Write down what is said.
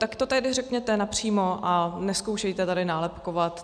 Tak to tady řekněte napřímo a nezkoušejte tady nálepkovat.